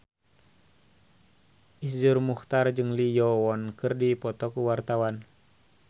Iszur Muchtar jeung Lee Yo Won keur dipoto ku wartawan